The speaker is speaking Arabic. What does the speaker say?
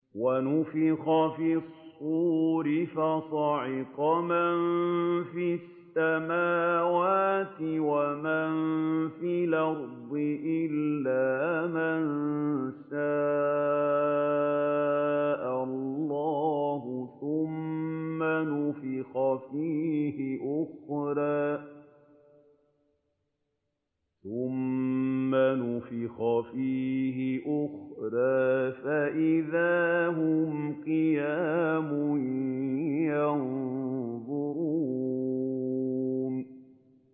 وَنُفِخَ فِي الصُّورِ فَصَعِقَ مَن فِي السَّمَاوَاتِ وَمَن فِي الْأَرْضِ إِلَّا مَن شَاءَ اللَّهُ ۖ ثُمَّ نُفِخَ فِيهِ أُخْرَىٰ فَإِذَا هُمْ قِيَامٌ يَنظُرُونَ